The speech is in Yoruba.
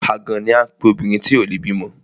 Àgàn ni à ń pe obìnrin tí ò le bímọ.